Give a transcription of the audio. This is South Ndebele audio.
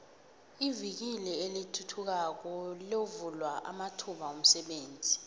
ivikili elithuthukayo lovula amathuba womsebenzi